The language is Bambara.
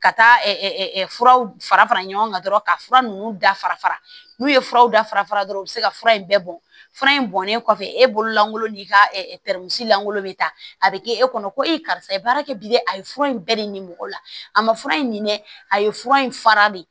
Ka taa furaw fara fara ɲɔgɔn kan dɔrɔn ka fura ninnu dafa n'u ye furaw dafara fara dɔrɔn u bɛ se ka fura in bɛɛ bɔ fura in bɔnnen kɔfɛ e bolo lankolon n'i ka lankolon bɛ ta a bɛ kɛ e kɔnɔ ko e karisa ye baara kɛ bilen a ye fura in bɛɛ de ɲini mɔgɔ la a ma fura in dɛ a ye fura in fara de